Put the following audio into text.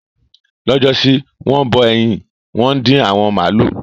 Lọ́jọ́ sí, wọ́n bọ ẹyin, wọ́n dín awọ màlúù.